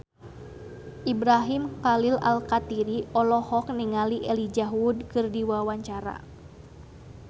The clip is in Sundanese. Ibrahim Khalil Alkatiri olohok ningali Elijah Wood keur diwawancara